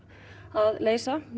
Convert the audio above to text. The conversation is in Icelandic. að leysa